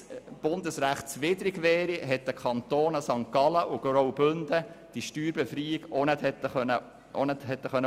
Wenn es bundesrechtswidrig wäre, hätten die Kantone St. Gallen und Graubünden diese Steuerbefreiung auch nicht vornehmen können.